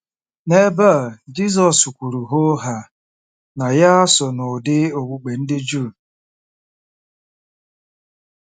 N'ebe a, Jizọs kwuru hoo haa na ya so n'ụdị okpukpe ndị Juu.